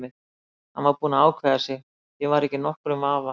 Hann var búinn að ákveða sig, ég var ekki í nokkrum vafa.